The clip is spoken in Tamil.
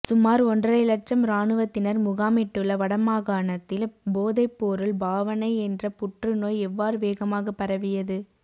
சுமார் ஒன்றரைஇலட்சம் இராணுவத்தினர் முகாமிட்டுள்ள வடமாகாணத்தில் போதைப்பொருள் பாவனை என்ற புற்றுநோய் எவ்வாறு வேகமாக பரவியது